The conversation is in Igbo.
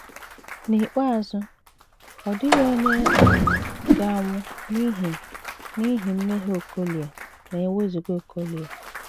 N’ikpeazụ, ọ dịghị onye um ga - anwụ n’ihi n’ihi mmehie Okolie ma e wezụga Okolie!